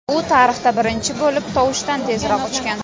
U tarixda birinchi bo‘lib tovushdan tezroq uchgan.